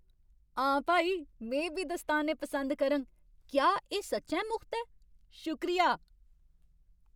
हा भाई, में बी दस्ताने पसंद करङ। क्या एह् सच्चैं मुख्त ऐ? शुक्रिया !